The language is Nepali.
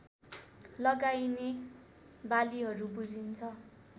लगाइने बालिहरू बुझिन्छ